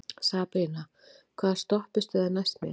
Sabrína, hvaða stoppistöð er næst mér?